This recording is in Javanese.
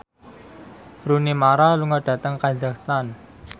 Rooney Mara lunga dhateng kazakhstan